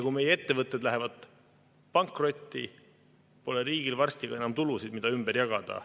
Kui meie ettevõtted lähevad pankrotti, pole riigil varsti ka enam tulusid, mida ümber jagada.